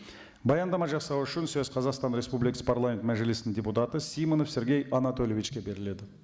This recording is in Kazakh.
баяндама жасау үшін сөз қазақстан республикасы парламент мәжілісінің депутаты симонов сергей анатольевичке беріледі